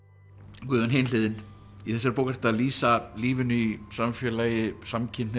Guðjón Hin hliðin í þessari bók ertu að lýsa lífinu í samfélagi samkynhneigðra